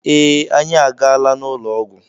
Ee, anyị agaala n'ụlọ ọgwụ.